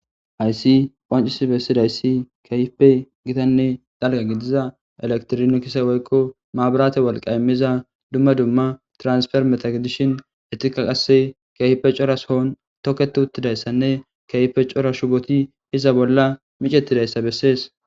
hayssi qancisi bessidayssi kehipe gitanne dalga gidiza elektirino kise woykko maaburate walqa immiza dumma dumma transfer metagedishin etika qasse kayfe coras hoon toketi uttidayssanne kayfe cora shuboti iza bolla micetidayssa bessees